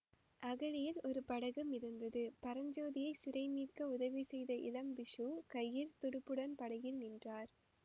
அகழியில் ஒரு படகு மிதந்தது பரஞ்சோதியைச் சிறை மீட்க உதவி செய்த இளம் பிக்ஷு கையில் துடுப்புடன் படகில் நின்றார்